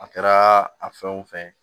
A kɛra a fɛn o fɛn